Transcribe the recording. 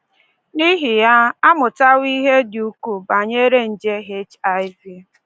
N’ihi ya, a mụtawo ihe dị ukwuu banyere nje HIV.